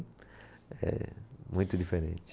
É muito diferente.